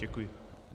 Děkuji.